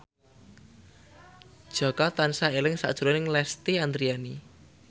Jaka tansah eling sakjroning Lesti Andryani